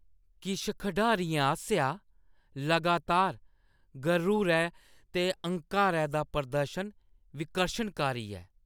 किश खढारियें आसेआ लगातार गरूरै ते हंकारै दा प्रदर्शन विकर्शनकारी ऐ।